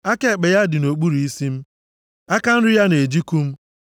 Aka ekpe ya dị nʼokpuru isi m, aka nri ya na-ejikụ m.